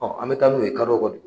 an bɛ taa n'o ye kalo kalo